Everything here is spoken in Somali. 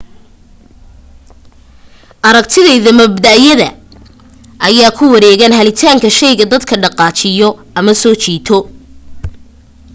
aragtiyada mabda'yada ayaa ku wareegan helitaanka shayga dadka dhaqaajiyo ama soo jiito